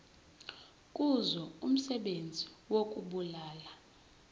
kuzo umsebenzi wokubulala